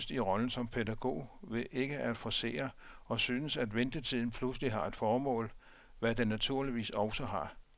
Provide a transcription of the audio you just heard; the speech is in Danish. Jeg optræder nærmest i rollen som pædagog ved ikke at forcere, og synes, at ventetiden pludselig har et formål, hvad den naturligvis også har.